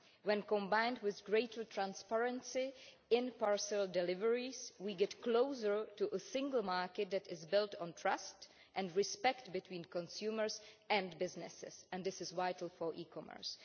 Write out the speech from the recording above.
When combined with greater transparency in parcel deliveries, we get closer to a single market that is built on trust and respect between consumers and businesses, and this is vital for e commerce.